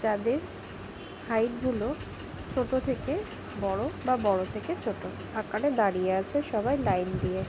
যাদের হাইট গুলো ছোট থেকে বড়ো বা বড় থেকে ছোটো আকারে দাঁড়িয়ে আছে সবাই লাইন দিয়ে ।